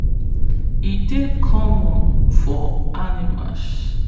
e dey common to dey see animals for sacrifice wey them tie for outside before them begin big sacrifice.